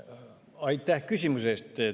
Aitäh küsimuse eest!